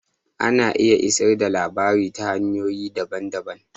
Ana iya isar da labarai ta hanyoyi daban-daban.